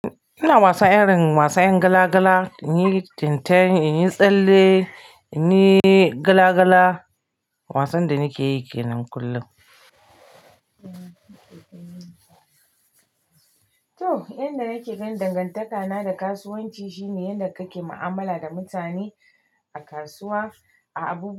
Ina wasa irin wasan gala gala, in yi tinten, in yi tsalle, in yi gala gala. Wasan da nake yi kenan kullum. To, yanda nake ganin dangantakana da kasuwanci shine yanda kake mu'amala da mutane a kasuwa, a abu.